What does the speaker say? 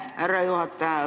Aitäh, härra juhataja!